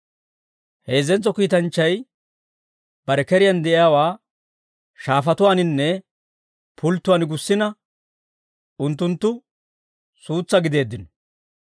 Heezzentso kiitanchchay bare keriyaan de'iyaawaa shaafatuuwaaninne pulttatuwaan gussina unttunttu suutsaa gideeddino.